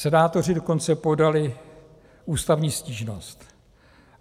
Senátoři dokonce podali ústavní stížnost.